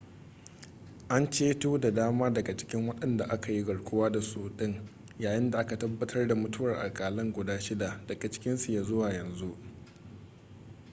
an ceto da dama cikin wadanda aka yi garkuwa da su din yayin da aka tabbatar da mutuwar akalla guda shida daga cikinsu ya zuwa yanzu